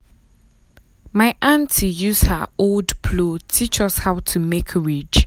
my auntie use her old plow teach us how to make ridge.